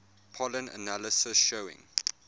pollen analysis showing